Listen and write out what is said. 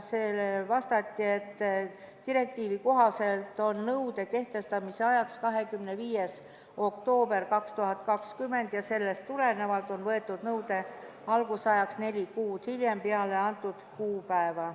Sellele vastati, et direktiivi kohaselt on nõude kehtestamise ajaks 25. oktoober 2020 ja nõue hakkab kehtima neli kuud peale nimetatud kuupäeva.